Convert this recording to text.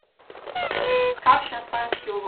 Kakšen sanjski uvod!